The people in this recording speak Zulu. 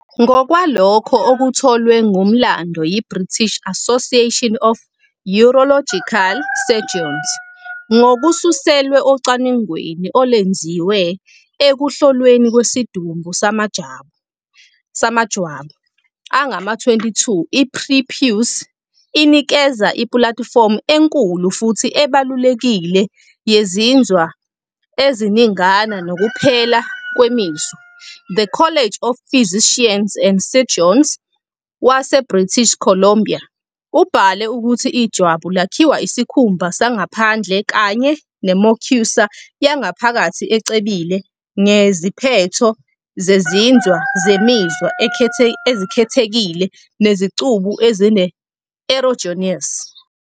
Ngokwalokho okutholwe ngumlando yiBritish Association of Urological Surgeons ngokususelwa ocwaningweni olwenziwe ekuhlolweni kwesidumbu samajwabu angama-22, "i-prepuce inikeza ipulatifomu enkulu futhi ebalulekile yezinzwa eziningana nokuphela kwemizwa", The College of Physicians and Surgeons waseBritish Columbia ubhale ukuthi ijwabu "lakhiwa isikhumba sangaphandle kanye ne- mucosa yangaphakathi ecebile ngeziphetho zezinzwa zemizwa ezikhethekile nezicubu ezine-erogenous."